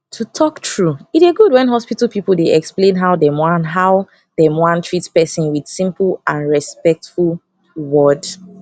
to talk true e dey good when hospital people dey explain how dem wan how dem wan treat person with simple and respectful word